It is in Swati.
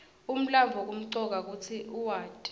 umlandvo kumcoka kutsi uwati